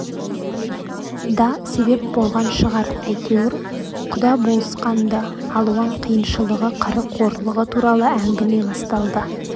да себеп болған шығар әйтеуір құда болысқан-ды алуан қиыншылығы қыры қорлығы туралы әңгіме басталды